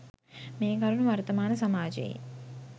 මේ කරුණු වර්තමාන සමාජයේ